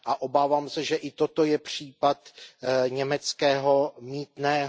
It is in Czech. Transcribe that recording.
A obávám se, že i toto je případ německého mýtného.